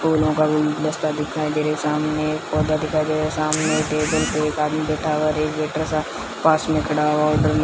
फूलों का गुलदस्ता दिखाई दे रहा सामने एक पौधा दिखाइ दे रहा सामने टेबल पे एक आदमी बैठा हुआ पास में खड़ा हुआ ऑर्डर ले --